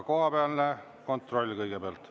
Kohapealne kontroll, kõigepealt.